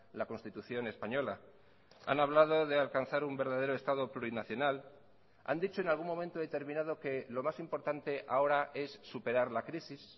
la constitución española han hablado de alcanzar un verdadero estado plurinacional han dicho en algún momento determinado que lo más importante ahora es superar la crisis